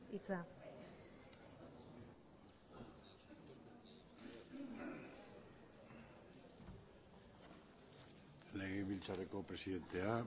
hitza legebiltzarreko presidentea